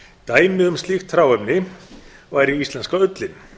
dæmi um slíkt hráefni væri íslenska ullin